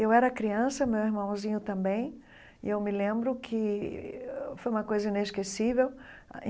Eu era criança, meu irmãozinho também, e eu me lembro que foi uma coisa inesquecível.